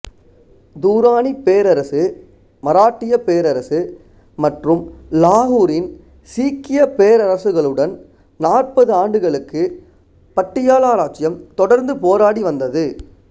துராணிப் பேரரசு மராட்டியப் பேரரசு மற்றும் லாகூரின் சீக்கியப் பேரரசுகளுடன் நாற்பது ஆண்டுகளுக்கு பட்டியாலா இராச்சியம் தொடர்ந்து போராடி வந்தது